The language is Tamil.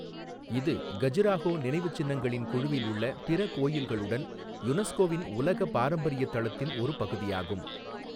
இது கஜுராஹோ நினைவுச்சின்னங்களின் குழுவில் உள்ள பிற கோயில்களுடன் யுனெஸ்கோவின் உலக பாரம்பரிய தளத்தின் ஒரு பகுதியாகும்.